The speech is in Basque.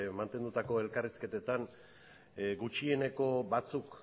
mantendutako elkarrizketetan gutxieneko batzuk